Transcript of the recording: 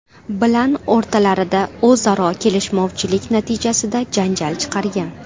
bilan o‘rtalarida o‘zaro kelishmovchilik natijasida janjal chiqargan.